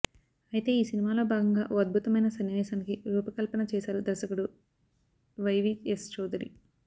అయితే ఈ సినిమాలో భాగంగా ఓ అద్బుతమైన సన్నివేశానికి రూపకల్పన చేసారు దర్శకుడు వైవీఎస్ చౌదరి